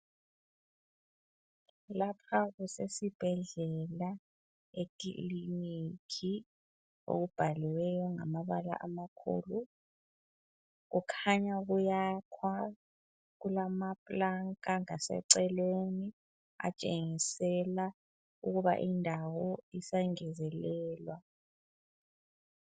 Lapha kusesibhedlela ekiliniki, okubhaliweyo ngamabala amakhulu kukhanywa kuyakhwa kulamplanka ngaseceleni atshengisela ukuba indawo isangezelelwa.